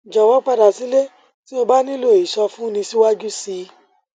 jọwọ padà sílé tí o bá nílò ìsọfúnni síwájú sí i